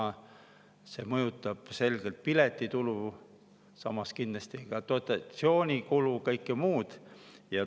See mõjutab selgelt piletitulu, samas kindlasti dotatsioonikulu ja kõike muud.